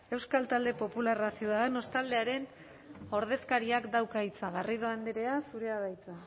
euskal talde popularra ciudadanos taldearen ordezkariak dauka hitza garrido andrea zurea da hitza